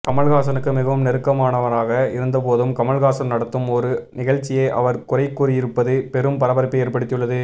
கமல்ஹாசனுக்கு மிகவும் நெருக்கமானவராக இருந்தபோதும் கமல்ஹாசன் நடத்தும் ஒரு நிகழ்ச்சியை அவர் குறை கூறியிருப்பது பெரும் பரபரப்பை ஏற்படுத்தியுள்ளது